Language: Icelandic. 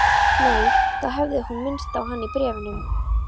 Nei, þá hefði hún minnst á hann í bréfunum.